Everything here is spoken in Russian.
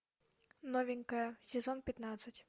новенькая сезон пятнадцать